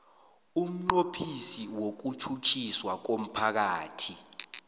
umnqophisi wokutjhutjhiswa komphakathi